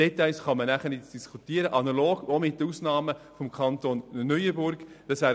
Details können danach analog zu den Ausnahmen im Kanton Neuenburg diskutiert werden.